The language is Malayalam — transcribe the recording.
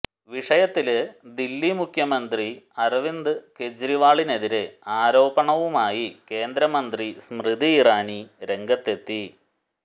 വിഷയത്തില് ദില്ലി മുഖ്യമ്ന്തരി അരവിന്ദ് കെജ്രിവാളിനെതിരെ ആരോപണവുമായി കേന്ദ്രമന്ത്രി സ്മൃതി ഇറാനി രംഗത്തെത്തി